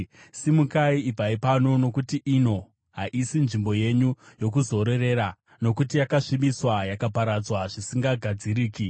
Simukai, ibvai pano! Nokuti ino haisi nzvimbo yenyu yokuzororera, nokuti yakasvibiswa, yakaparadzwa zvisingagadziriki.